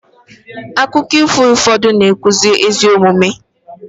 akụkọ ifo ụfọdụ na-akụzi ezi omume